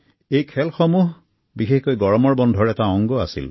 এই খেলসমূহ বিশেষকৈ গৰমৰ বন্ধৰ এটা অংগ আছিল